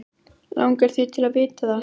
Langar þig til að vita það?